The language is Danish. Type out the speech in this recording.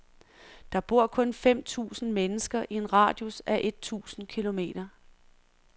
Der bor kun fem tusind mennesker i en radius af et tusind kilometer.